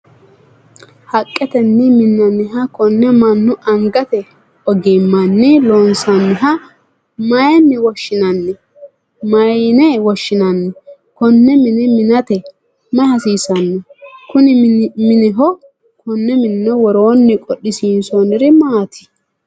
haqqetenni minnanniha konne mannu angate ogimmanni loosanniha mayiine woshshinanni? konne mine minate mayi hasiisanno? kuni mineho woroonni qodhisiinsoonniri maati ?